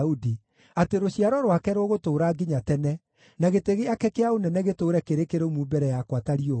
atĩ rũciaro rwake rũgũtũũra nginya tene, na gĩtĩ gĩake kĩa ũnene gĩtũũre kĩrĩ kĩrũmu mbere yakwa ta riũa;